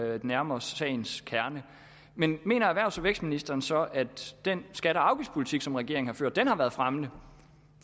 at nærme os sagens kerne men mener erhvervs og vækstministeren så at den skatte og afgiftspolitik som regeringen har ført har været fremmende